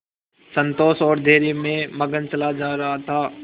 संतोष और धैर्य में मगन चला जा रहा था